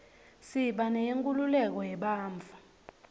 siba neyenkhululeko yebantfu